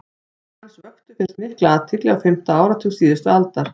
verk hans vöktu fyrst mikla athygli á fimmta áratug síðustu aldar